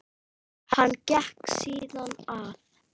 Hann gekk síðan að